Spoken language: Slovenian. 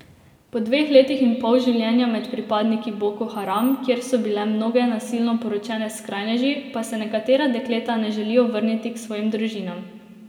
Po dveh letih in pol življenja med pripadniki Boko Haram, kjer so bile mnoge nasilno poročene s skrajneži, pa se nekatera dekleta ne želijo vrniti k svojim družinam.